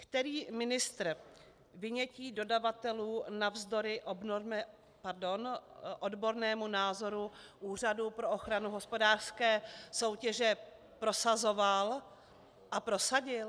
Který ministr vynětí dodavatelů navzdory odbornému názoru Úřadu pro ochranu hospodářské soutěže prosazoval a prosadil?